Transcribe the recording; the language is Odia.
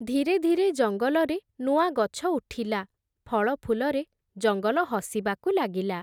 ଧୀରେ ଧୀରେ ଜଙ୍ଗଲରେ ନୂଆ ଗଛ ଉଠିଲା, ଫଳଫୁଲରେ ଜଙ୍ଗଲ ହସିବାକୁ ଲାଗିଲା ।